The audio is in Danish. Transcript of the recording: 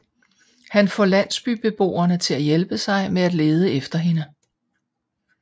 Han får landsbybeboerne til at hjælpe sig med at lede efter hende